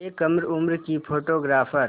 एक कम उम्र की फ़ोटोग्राफ़र